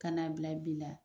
Ka na bila bi la.